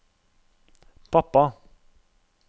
pappa